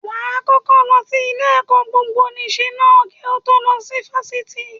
Wàá kọ́kọ́ lọ sí ilé-ẹ̀kọ́ gbogboníṣe ná kí o tó lọ sí Fáṣítì